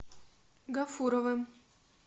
гафуровым